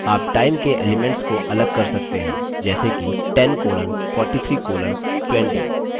आप time के elements को अलग कर सकते हैं जैसे कि 10 colon 43 colon 20